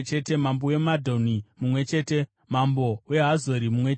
mambo weMadhoni mumwe chete mambo weHazori mumwe chete